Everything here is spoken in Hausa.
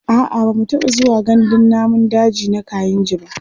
a'a bamu taɓa zuwa gandun namun daji na kainji ba